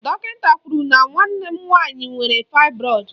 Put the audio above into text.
Dọkịnta kwụrụ na nwanne m nwaanyị nwere faịbroịd